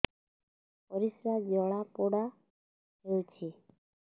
ପରିସ୍ରା ଜଳାପୋଡା ହଉଛି